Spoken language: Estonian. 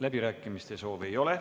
Läbirääkimiste soovi ei ole.